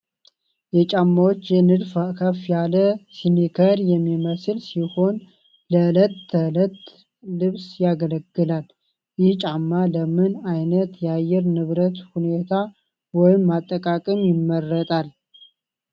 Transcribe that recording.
የጫማዎች ንድፍ ከፍ ያለ ስኒከር የሚመስል ሲሆን ለዕለት ተዕለት ልብስ ያገለግላል። ይህ ጫማ ለምን ዓይነት የአየር ንብረት ሁኔታ ወይም አጠቃቀም ይመረጣል?